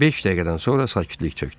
Beş dəqiqədən sonra sakitlik çökdü.